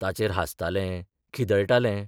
ताचेर हांसतालें, खिदळटालें.